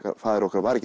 faðir okkar var ekki